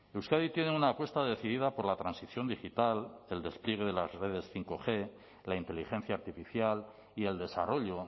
euskadi tiene una apuesta decidida por la transición digital el despliegue de las redes bostg la inteligencia artificial y el desarrollo